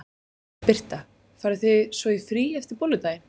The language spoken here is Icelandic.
Birta: Farið þið svo í frí eftir Bolludaginn?